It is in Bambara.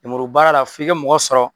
Nemuru baara la f'i ka mɔgɔ sɔrɔ